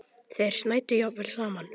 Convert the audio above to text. Þeir snæddu jafnvel saman.